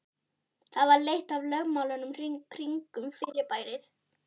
Það var eitt af lögmálunum kringum fyrirbærið.